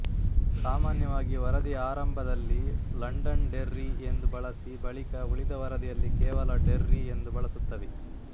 ಸಾಮಾನ್ಯವಾಗಿ ವರದಿಯ ಆರಂಭದಲ್ಲಿ ಲಂಡನ್ ಡೆರ್ರಿ ಎಂದು ಬಳಸಿ ಬಳಿಕ ಉಳಿದ ವರದಿಯಲ್ಲಿ ಕೇವಲ ಡೆರ್ರಿ ಎಂದು ಬಳಸುತ್ತವೆ